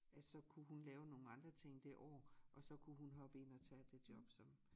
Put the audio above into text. At så kunne hun lave nogen andre ting det år og så kunne hun hoppe ind og tage det job som